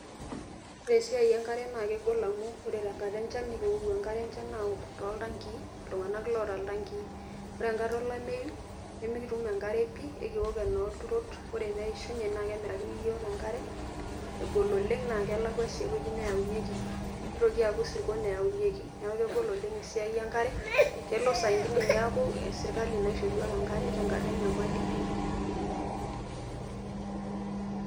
Ore esiai enkare na kegol amu ore tenkata enchan, nikiwou enkare enchan aok toltankii, iltung'anak loota iltankii. Ore enkata olameyu, nimikitum enkare pi. Ekiwok enoolturot, ore peishunye, na kemirakini yiok enkare, egol oleng' na kelakwa si ewueji neaunyeki. Nitoki aku isirkon eaunyeki. Neeku kegol oleng' esiai enkare, kelo sainkine na serkali naisho yiok enkare, tenkata enyamali pi.